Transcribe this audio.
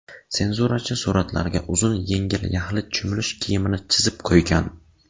Senzurachi suratlarga uzun yengli yaxlit cho‘milish kiyimini chizib qo‘ygan.